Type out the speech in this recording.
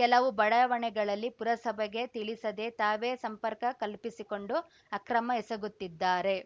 ಕೆಲವುಬಡಾವಣೆಗಳಲ್ಲಿ ಪುರಸಭೆಗೆ ತಿಳಿಸದೇ ತಾವೇ ಸಂಪರ್ಕ ಕಲ್ಪಿಸಿಕೊಂಡು ಅಕ್ರಮ ಎಸಗುತ್ತಿದ್ದಾರೆ